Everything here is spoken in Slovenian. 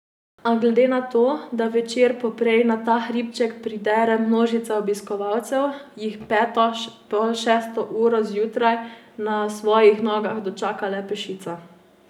A glede na to, da večer poprej na ta hribček pridere množica obiskovalcev, jih peto, pol šesto uro zjutraj, na svojih nogah dočaka le peščica.